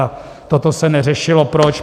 A toto se neřešilo proč?